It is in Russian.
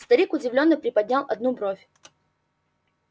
старик удивлённо приподнял одну бровь